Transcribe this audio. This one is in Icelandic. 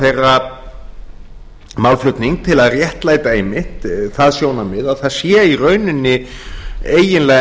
þeirra málflutning til að réttlæta einmitt það sjónarmið að það sé í rauninni eiginlega